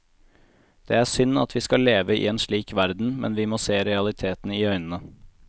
Det er synd at vi skal leve i en slik verden, men vi må se realiteten i øynene.